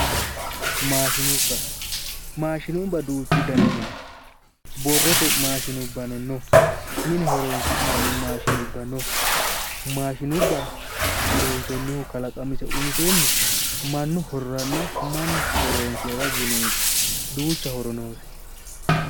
Maashinubba maashinubba duuchu daniti no borrote maashinubbano no mine horonsi'nanni maashinubba no maashinubba loonsoonnihu kalaqamise umisenni mannu hororanna mannu horoonsirara yineeti duucha horo noose